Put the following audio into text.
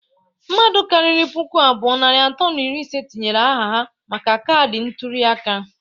Mmadụ karịrị puku abụọ, narị atọ na iri ise tinyere aha ha maka kaadi ntuli aka..